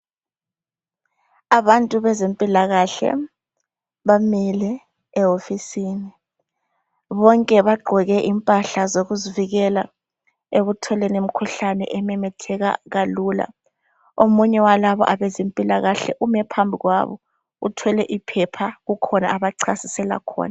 Abantu bezempilakahle bamile ehofisini. Bonke bagqoke impahla zokuzivikela ekutholeni imikhuhlane, ememetheka kalula. Omunye wezempilakahle uthwele iphepha. Kukhona abachasisela khona,